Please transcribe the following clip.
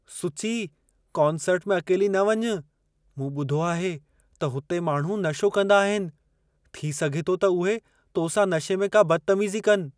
सुची, कॉन्सर्ट में अकेली न वञु। मूं ॿुधो आहे त हुते माण्हू नशो कंदा आहिनि। थी सघे थो त उहे तो सां नशे में का बदतमीज़ी कनि।